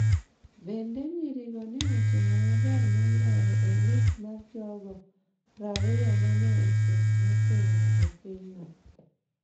Bende, nyirigo ne otimo maber moloyo e list mar jogo prariyo ma ne ochung’ motegno e pinyno.